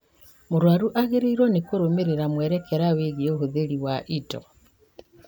Mũrwaru agĩrĩirwo nĩ kũrũmĩrĩra mwerekera wĩgiĩ ũhũthĩri wa indo